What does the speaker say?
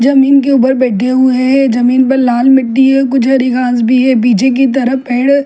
जमीन के ऊपर बैठे हुए हैं जमीन पर लाल मिट्टी है कुछ हरी घास भी है पीछे की तरफ पेड़--